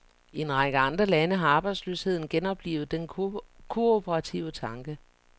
I en række andre lande har arbejdsløsheden genoplivet den kooperative tanke.